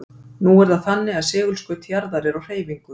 nú er það þannig að segulskaut jarðar er á hreyfingu